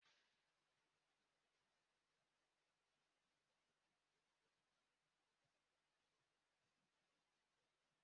Ee, oge emere Children's Day, ndi mmadu jere na Lekki Conservation Centre maka ezumike